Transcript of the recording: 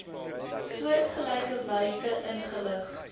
soortgelyke wyse ingelig